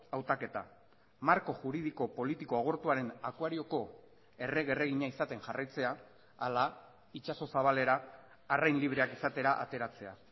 hautaketa marko juridiko politiko agortuaren akuarioko errege erregina izaten jarraitzea ala itsaso zabalera arrain libreak izatera ateratzea